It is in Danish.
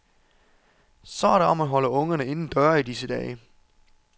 Så er det om at holde ungerne inden døre i disse dage.